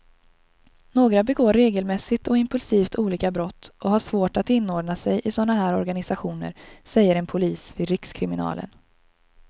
Några begår regelmässigt och impulsivt olika brott och har svårt att inordna sig i såna här organisationer, säger en polis vid rikskriminalen.